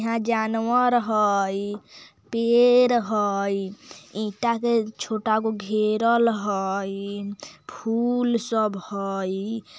यहाँ जानवर हई पेड़ हई ईटा के छोटा गो घेरल हई फूल सब हई।